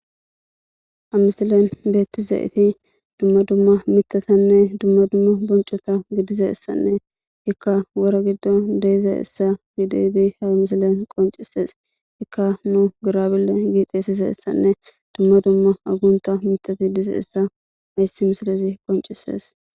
ha misilen beettizaiti dumma dumma mithatanne dumma dumma boncota gidize essanne ikka wora giddo deyze essa giideidi hamisilen qoncises ikka nu gurabille giiqeesese essanne dumma dumma agunta mitati dize essa mayssi misilisi qoncisees